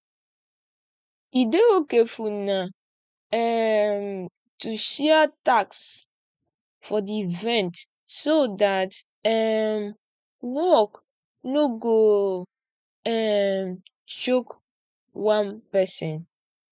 e dey okay for una um to share tasks for di event so that um work no go um choke one person